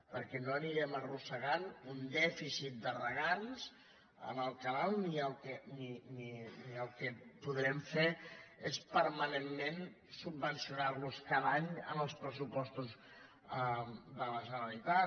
perquè no anirem arrossegant un dèficit de regants en el canal ni el que podrem fer és permanentment subvencionar los cada any en els pressupostos de la generalitat